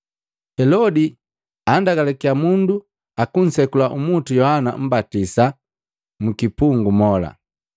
Helodi andagalakiya mundu akusekula umutu Yohana Mmbatisa mkipungu mola.